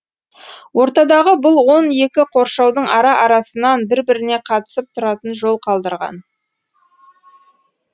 ортадағы бұл он екі қоршаудың ара арасынан бір біріне қатысып тұратын жол қалдырған